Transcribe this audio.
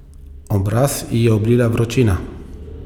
Obraz ji je oblila vročina.